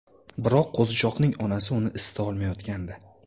Biroq qo‘zichoqning onasi uni isita olmayotgandi.